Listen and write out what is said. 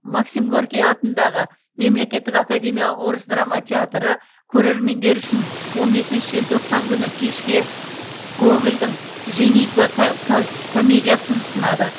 максим горький атындағы мемлекеттік академиялық орыс драма театры көрермендер үшін он бесінші желтоқсан күні кешке гогольдің женитьба комедиясын ұсынады